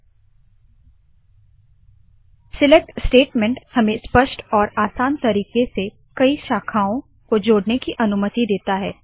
हित enter select statement हमें स्पष्ट और आसान तरीके से कई शाखाओ को जोड़ने की अनुमति देता है